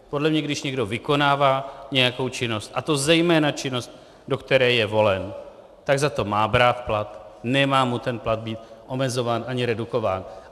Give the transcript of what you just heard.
Podle mě když někdo vykonává nějakou činnost, a to zejména činnost, do které je volen, tak za to má brát plat, nemá mu ten plat být omezován ani redukován.